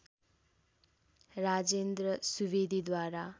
Rajendra सुवेदीद्वारा